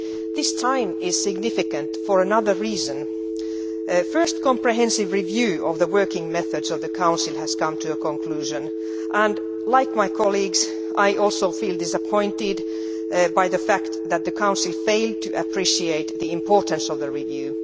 This time is significant for another reason. A first comprehensive review of the working methods of the Council has come to a conclusion and, like my colleagues, I feel disappointed by the fact that the Council failed to appreciate the importance of the review.